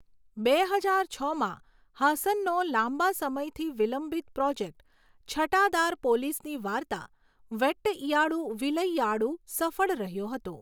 બે હજાર છમાં, હાસનનો લાંબા સમયથી વિલંબિત પ્રોજેક્ટ, છટાદાર પોલીસની વાર્તા વેટ્ટઇયાડુ વિલઈયાડુ, સફળ રહ્યો હતો.